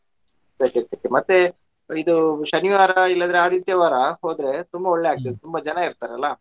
ಸೆಕೆ ಸೆಕೆ ಮತ್ತೆ ಇದು ಶನಿವಾರ ಇಲ್ಲಾದ್ರೆ ಆದಿತ್ಯವಾರ ಹೋದ್ರೆ ತುಂಬಾ ಒಳ್ಳೇ ತುಂಬಾ ಜನಾ ಇರ್ತಾರೆ ಅಲ್ಲಾ.